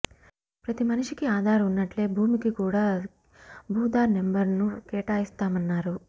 ప్రతి మనిషికి ఆధార్ ఉన్నట్లే భూమికి కూడా భూధార్ నెంబర్ను కేటాయిస్తామన్నారు